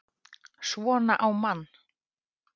SVONA Á MANN!